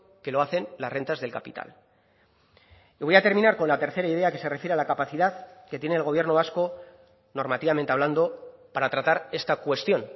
que lo hacen las rentas del capital y voy a terminar con la tercera idea que se refiere a la capacidad que tiene el gobierno vasco normativamente hablando para tratar esta cuestión